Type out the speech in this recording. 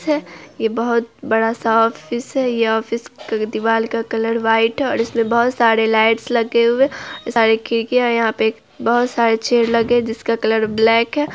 ये बहुत बड़ा-सा ऑफिस है ये ऑफिस के दीवार का कलर व्हाइट और इसमे बहुत सारी लाइट्स लगे हुए सारी खिड़कियां यहां पे एक बहुत सारे चेयर लगे है जिसका कलर ब्लैक है।